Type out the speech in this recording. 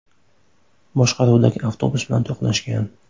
boshqaruvidagi avtobus bilan to‘qnashgan.